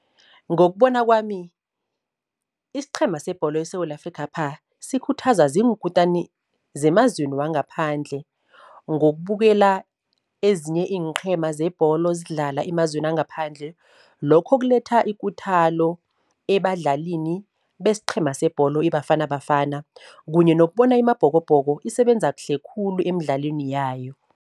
Ngokubona kwami isiqhema sebholo eSewula Afrikhapha sikhuthazwa ziinkutani zemazweni wangaphandle. Ngokubukela ezinye iinqhema zebholo zidlala emazweni wangaphandle, lokho kuletha ikuthalo ebadlalini besiqhema sebholo iBafana Bafana kunye nokubona iMabhokobhoko isebenza kuhle khulu emidlalweni yayo.